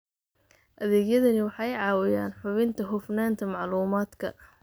Adeegyadani waxay caawiyaan hubinta hufnaanta macluumaadka.